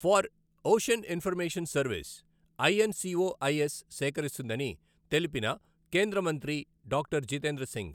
For ocean information service INCOIS సేకరిస్తుందని తెలిపిన కేంద్ర మంత్రి డాక్టర్ జితేంద్ర సింగ్.